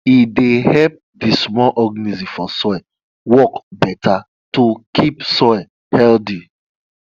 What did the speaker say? e dey help di small organisms for soil work better to keep soil healthy